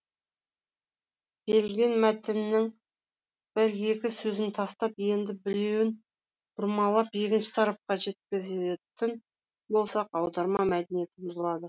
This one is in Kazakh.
берілген мәтіннің бір екі сөзін тастап енді біреуін бұрмалап екінші тарапқа жеткізетін болсақ аударма мәдениеті бұзылады